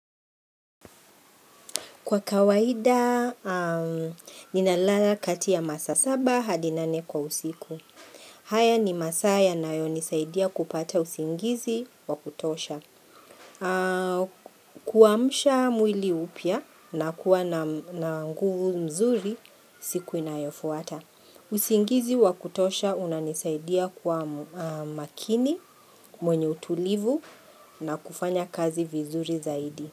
Kwa kawaida, ninalala kati ya masaa saba hadi nane kwa usiku. Haya ni masaa yanayonisaidia kupata usingizi wa kutosha. Kuamsha mwili upya na kuwa na nguvu mzuri, siku inayofuata. Usingizi wa kutosha unanisaidia kwa makini, mwenye utulivu na kufanya kazi vizuri zaidi.